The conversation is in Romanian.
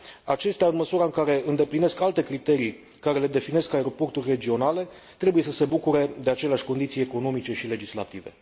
Acestea, în măsura în care îndeplinesc alte criterii care le definesc aeroporturi regionale, trebuie să se bucure de aceleași condiții economice și legislative.